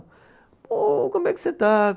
Ô como é que você está?